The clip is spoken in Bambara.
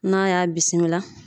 N'a y'a bisimila